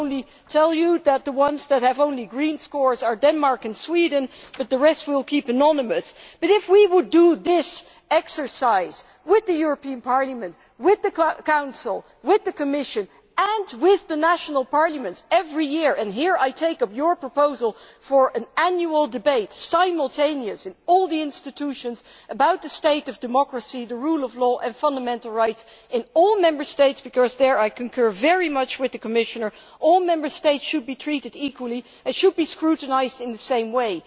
I can only tell you that the ones with only green scores are Denmark and Sweden but the rest we will keep anonymous. If we did this exercise with Parliament, with the Council, the Commission and with the national parliaments every year and here I take up your proposal for an annual debate simultaneously in all the institutions about the state of democracy, the rule of law and fundamental rights in all Member States, because there I concur very much with the Commissioner all Member States should be treated equally and should be scrutinised in the same way.